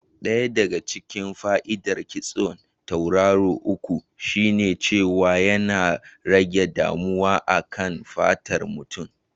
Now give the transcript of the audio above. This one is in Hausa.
Ɗaya daga cikin fa'idar kitson tauraro uku shine cewa yana rage damuwa a kan fatar mutum.